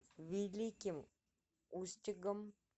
великим устюгом